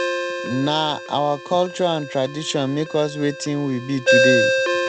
nah our culture and tradition make us wetin we be today.